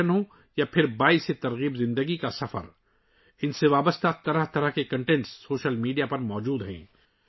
سیاحت ہو، سماجی کاز، عوامی شرکت ہو یا زندگی کا متاثر کن سفر، ان سے متعلق مختلف قسم کے مواد سوشل میڈیا پر دستیاب ہیں